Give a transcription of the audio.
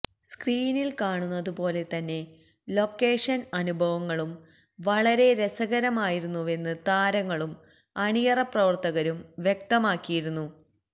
സ്ക്രീനില് കാണുന്നത് പോലെ തന്നെ ലൊക്കേഷന് അനുഭവങ്ങളും വളരെ രസകരമായിരുന്നുവെന്ന് താരങ്ങളും അണിയറപ്രവര്ത്തകരും വ്യക്തമാക്കിയിരുന്നു